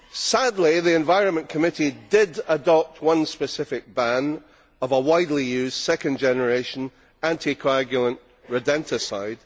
Sadly, the Environment Committee did adopt one specific ban of a widely used second generation, anti coagulant rodenticide.